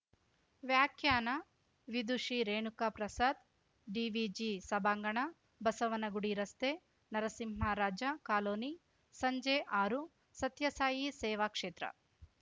ವ್ಯಾಖ್ಯಾನ ವಿದುಷಿ ರೇಣುಕ ಪ್ರಸಾದ್‌ ಡಿವಿಜಿ ಸಭಾಂಗಣ ಬಸವನಗುಡಿ ರಸ್ತೆ ನರಸಿಂಹರಾಜ ಕಾಲೋನಿ ಸಂಜೆ ಆರು ಸತ್ಯಸಾಯಿ ಸೇವಾ ಕ್ಷೇತ್ರ